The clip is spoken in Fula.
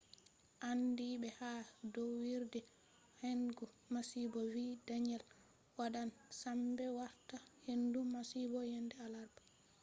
andiiɓe ha ɗowirɗe hendu masibo vi danielle wadan sembe warta hendu masibo yende alarba